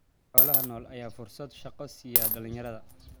Xoolaha nool ayaa fursad shaqo siiya dhalinyarada.